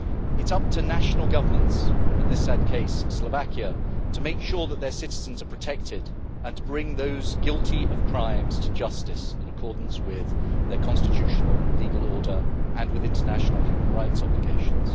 It is up to national governments, in this sad case Slovakia, to make sure that their citizens are protected and to bring those guilty of crimes to justice in accordance with their constitutional legal order and with international human rights obligations.